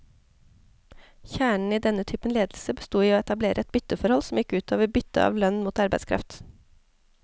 Kjernen i denne typen ledelse bestod i å etablere et bytteforhold, som gikk ut over byttet av lønn mot arbeidskraft.